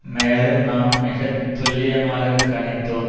மேலும் நாம் மிக துல்லியமாக கணித்தோம்